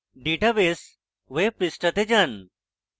database web পৃষ্ঠাতে যান